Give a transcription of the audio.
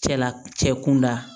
Cɛla cɛ kunda